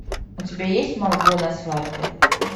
у тебя есть марго на свадьбе